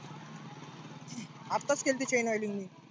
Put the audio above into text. आताच केलती chain oil मी.